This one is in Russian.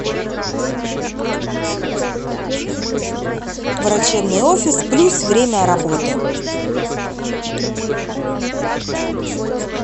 врачебный офис плюс время работы